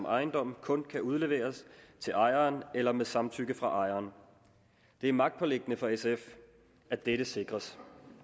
ejendom kun kan udleveres til ejeren eller med samtykke fra ejeren det er magtpåliggende for sf at dette sikres